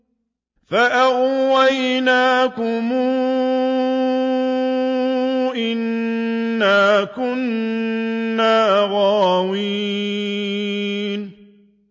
فَأَغْوَيْنَاكُمْ إِنَّا كُنَّا غَاوِينَ